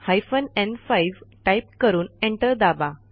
hyphen न्5 type करून enter दाबा